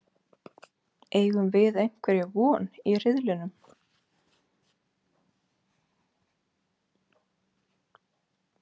Eigum við einhverja von í riðlinum?